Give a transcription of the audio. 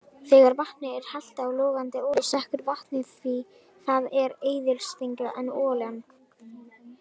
Þegar vatni er hellt á logandi olíu sekkur vatnið, því það er eðlisþyngra en olían.